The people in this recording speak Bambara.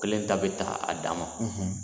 Kelen ta bɛ ta a dama